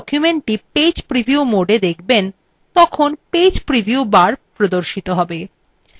যখন আপনি document page preview mode দেখবেন তখন page preview bar প্রদর্শিত হবে